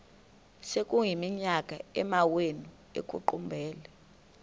sekuyiminyaka amawenu ekuqumbele